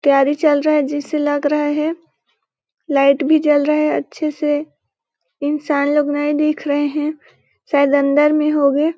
तैयारी चल रहा हैं जिसे लग रहा हैं लाइट भी जल रहा अच्छे से इंसान लोग नए दिख रहे हैं शायद अंदर में होंगे।